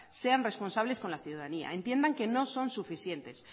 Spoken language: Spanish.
sean responsables con la ciudadanía entiendan que no son suficientes